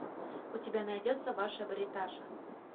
у тебя найдется ваша бриташа